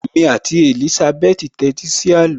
Èmi àti Èlísábẹ́tì tẹ́tí sí àló